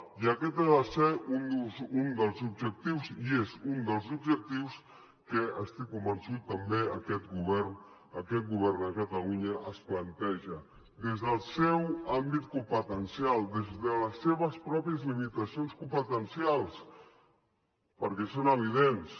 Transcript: i aquest ha de ser un dels objectius i és un dels objectius que estic convençut també que aquest govern aquest govern de catalunya es planteja des del seu àmbit competencial des de les seves pròpies limitacions competencials perquè són evidents